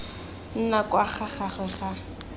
nna kwa ga gagwe ga